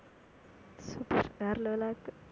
வேற level ஆ இருக்கு